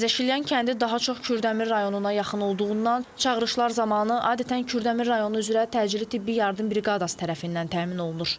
Təzəşilyan kəndi daha çox Kürdəmir rayonuna yaxın olduğundan çağırışlar zamanı adətən Kürdəmir rayonu üzrə təcili tibbi yardım briqadası tərəfindən təmin olunur.